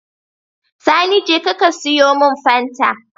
Sani jeka ka siyo mun fanta